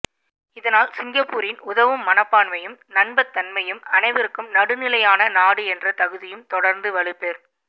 இதனால் சிங்கப்பூரின் உதவும் மனப்பான்மை யும் நம்பத்தன்மையும் அனைவருக் கும் நடுநிலையான நாடு என்ற தகுதியும் தொடர்ந்து வலுப்பெற்